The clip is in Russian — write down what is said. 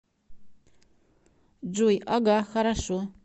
джой ага хорошо